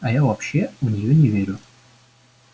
а я вообще в неё не верю